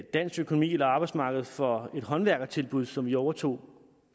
dansk økonomi eller arbejdsmarkedet for et håndværkertilbud som vi overtog